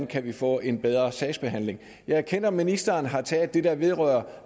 kan få en bedre sagsbehandling jeg erkender at ministeren har taget det der vedrører